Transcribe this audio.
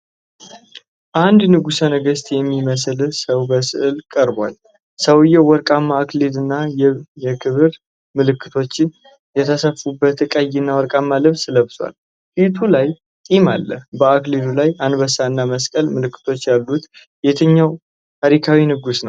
አንድ ንጉሠ ነገሥት የሚመስል ሰው በሥዕል ቀርቧል። ሰውዬው ወርቃማ አክሊልና የክብር ምልክቶች የተሰፉበት ቀይና ወርቃማ ልብስ ለብሷል፤ ፊቱ ላይ ጢም አለው። በአክሊሉ ላይ አንበሳና መስቀል ምልክቶች ያሉት የትኛው ታሪካዊ ንጉሥ ነው